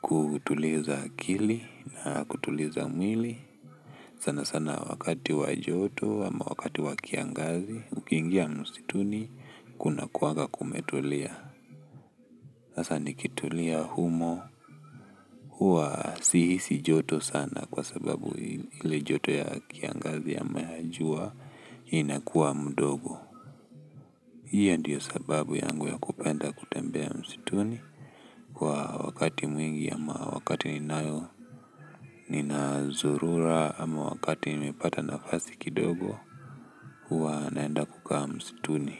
Kutuliza akili na kutuliza mwili sana sana wakati wa joto ama wakati wa kiangazi. Ukiingia msituni kunakuanga kumetulia. Sasa nikitulia humo, huwa sihisi joto sana kwa sababu ile joto ya kiangazi ama ya jua inakuwa mdogo. Hio ndio sababu yangu ya kupenda kutembea msituni kwa wakati mwingi ama wakati ninayo, ninazurura ama wakati nimepata nafasi kidogo, huwa naenda kukaa msituni.